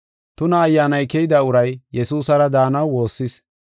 Tuna ayyaanay keyida uray Yesuusara daanaw woossis.